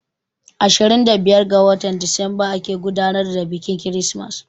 Ashirin da biyar ga watan Disamba ake gudanar da biƙin kirismas